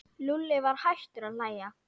Lúlli var hættur að hlæja.